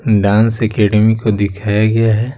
Dance academy को दिखाया गया है।